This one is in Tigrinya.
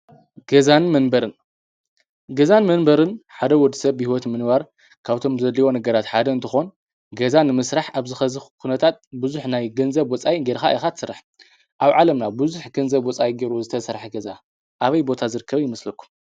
ገዛን መንበርን፡- ገዛን መንበርን ሓደ ወዲ ሰብ ብህይወት ንምንባር ካብቶም ዘድልይዎ ነገራት ሓደ እንተኾን ገዛ ንምሥራሕ ኣብዚ ኸዚ ኩነታት ብዙሕ ናይ ገንዘብ ወፃኢ ጌርኻ ኢኻ ትሰራሖ፡፡ ኣብ ዓለምና ብዙሕ ገንዘብ ወፃኢ ገይሩ ዝተሰራሐ ገዛ ኣበይ ቦታ ዝርከበ ይምስለኩም?